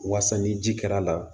Wasa ni ji kɛr'a la